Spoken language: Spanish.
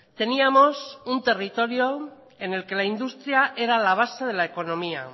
teníamos un territorio en el que la industria era la base de la economía